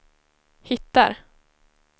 hittar